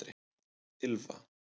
Ylfa